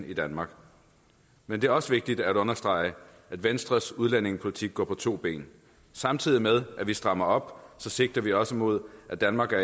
i danmark men det er også vigtigt at understrege at venstres udlændingepolitik går på to ben samtidig med at vi strammer op sigter vi også imod at danmark er